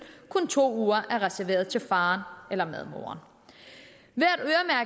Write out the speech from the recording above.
kun to uger er reserveret til faren eller medmoren